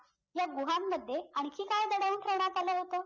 ह्या गुहांमध्ये आणखी काय दडवून ठेवण्यात आलं होतं